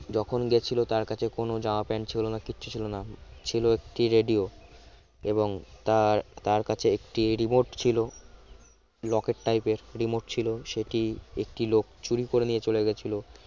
যখন গেছিল তার কাছে কোন জামা প্যান্ট ছিল না কিচ্ছু ছিল না ছিল একটি radio এবং তার তার কাছে একটি remote ছিল লকেট type র remote ছিল সেটি একটি লোক চুরি করে নিয়ে চলে গেছিল